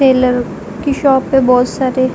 Taylor की shop पे बोहोत सारे --